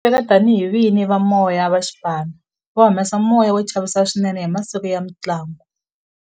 Va tiveka tani hi vini va moya va xipano va humesa moya wo chavisa swinene hi masiku ya mintlangu